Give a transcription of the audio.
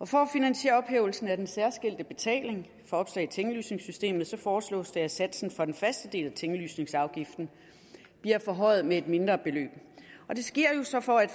for at finansiere ophævelsen af den særskilte betaling for opslag i tinglysningssystemet foreslås det at satsen for den faste del af tinglysningsafgiften bliver forhøjet med et mindre beløb det sker jo så for at